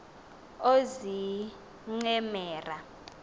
oozincemera